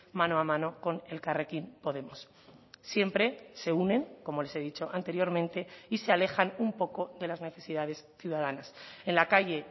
mano a mano con elkarrekin podemos siempre se unen como les he dicho anteriormente y se alejan un poco de las necesidades ciudadanas en la calle